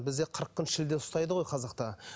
бізде қырық күн шілде ұстайды ғой қазақта